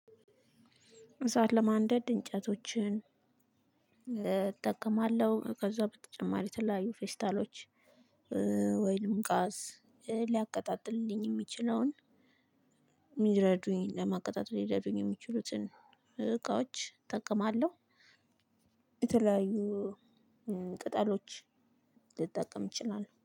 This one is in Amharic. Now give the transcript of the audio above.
እሳት ለማንደድ እንጨቶችን እጠቀማለሁ ከዛ በተጨማሪ የተለያዩ ፌስታሎች ወይም ጋዝ ሊያቀጣጥልልኝ ሚችለውን ሊረዱኝ ለማቀጣጠል ሊረዱኝ የሚችሉትን እቃዎች እጠቀማለሁ። የተለያዩ ቅጠሎች ልጠቀም እችላለሁ።